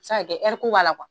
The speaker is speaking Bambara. Samakɛ ko b'a la kuwa.